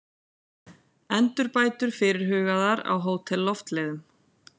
Endurbætur fyrirhugaðar á Hótel Loftleiðum